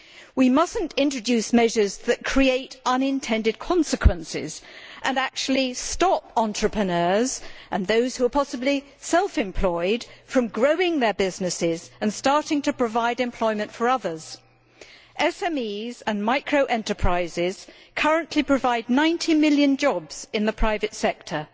We must not introduce measures that create unintended consequences and actually stop entrepreneurs and possibly those who are self employed from growing their businesses and starting to provide employment for others. SMEs and micro enterprises currently provide 90 million jobs in the private sector